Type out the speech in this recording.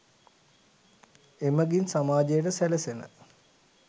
එමඟින් සමාජයට සැලසෙන